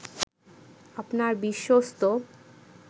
আপনার বিশ্বস্ত